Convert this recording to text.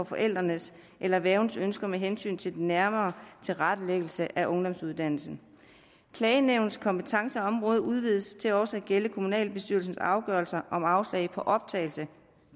forældrene eller værgens ønsker med hensyn til den nærmere tilrettelæggelse af ungdomsuddannelsen klagenævnets kompetenceområde udvides til også at gælde kommunalbestyrelsens afgørelser om afslag på optagelse